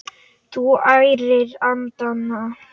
Þú ærir andana!